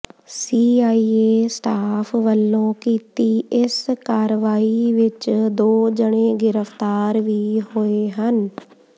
CIA staff ਵੱਲੋਂ ਕੀਤੀ ਇਸ ਕਾਰਵਾਈ ਵਿੱਚ ਦੋ ਜਣੇ ਗ੍ਰਿਫ਼ਤਾਰ ਵੀ ਹੋਏ ਹਨ